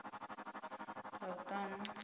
ḽavhuṱanu